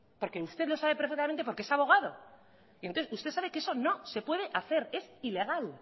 porque usted lo sabe perfectamente porque es abogado usted sabe que eso no se puede hacer es ilegal